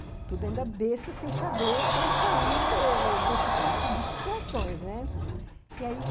besta sem saber como sair eh das de situações. E aí,